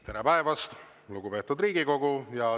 Tere päevast, lugupeetud Riigikogu!